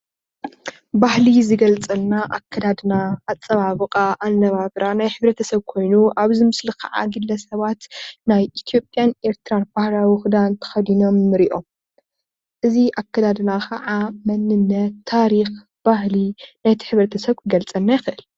ባህሊ ዝገልፀልና ኣከዳድና ኣፀባብቃ ኣነባብራ ናይ ሕብረተሰብ ኮይኑ ኣብዚ ምስሊ ካዓ ግለ ሰባት ናይ ኢትየጵያን ኤርትራን ባህላዊ ክዳን ተከዲኖም ንሪኦም፡፡ እዚ ኣከዳድና ከዓ መንነት፣ ታሪክን ባህሊ ነቲ ሕብረሰተስብ ክገልፀልና ይክእል፡፡